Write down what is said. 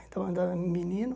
Então, menino.